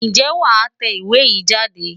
Ǹjẹ́ wàá tẹ ìwé yìí jáde?